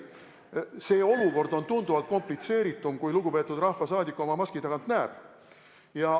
See olukord on tunduvalt komplitseeritum, kui lugupeetud rahvasaadik oma maski tagant näeb.